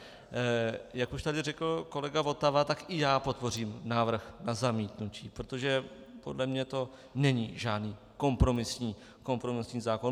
Jak už tady řekl kolega Votava, tak i já podpořím návrh na zamítnutí, protože podle mě to není žádný kompromisní zákon.